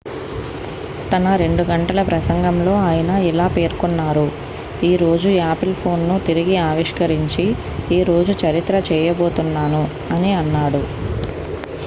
"""తన 2 గంటల ప్రసంగంలో ఆయన ఇలా పేర్కొన్నారు" ఈ రోజు యాపిల్ ఫోన్ ను తిరిగి ఆవిష్కరించి ఈ రోజు చరిత్ర చేయబోతున్నాను" అని అన్నాడు.